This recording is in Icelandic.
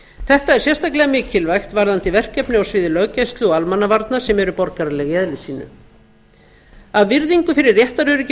þetta er sérstaklega mikilvægt varðandi verkefni á sviði löggæslu og almannavarna sem eru borgaraleg í eðli sínu af virðingu fyrir réttaröryggi